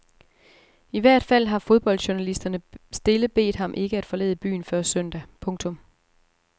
I hvert fald har fodboldjournalisterne stille bedt ham ikke at forlade byen før søndag. punktum